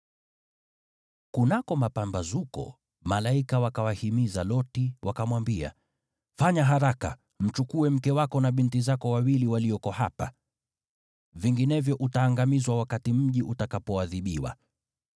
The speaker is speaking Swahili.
Kunako mapambazuko, malaika wakamhimiza Loti, wakamwambia, “Fanya haraka! Mchukue mke wako na binti zako wawili walioko hapa, la sivyo utaangamizwa wakati mji utakapoadhibiwa.”